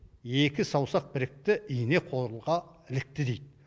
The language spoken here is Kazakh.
екі саусақ бірікті ине қолға ілікті дейді